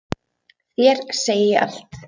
Þér segi ég allt.